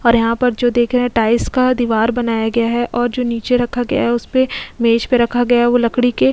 और यहां पर जो देख रहे हैं टाइल्स का दीवार बनाया गया है और जो नीचे रखा गया है उस पे मेज पे रखा गया है वो लकड़ी के --